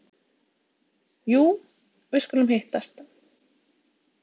Jú, við skulum hittast.